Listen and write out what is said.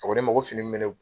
A ko ne ma ko fini min bɛ ne